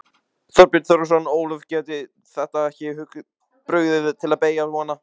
Þorbjörn Þórðarson: Ólöf, gæti þetta ekki brugðið til beggja vona?